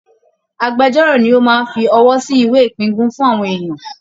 Âgbẹjọ́rò ni ó máa ń fi ọwọ́ sí ìwé ìpíngún fún àwọn èèyàn